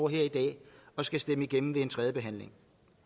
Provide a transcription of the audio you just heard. her i dag og skal stemme forslaget igennem ved en tredje behandling